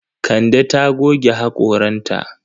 Kande ta goge haƙoranta.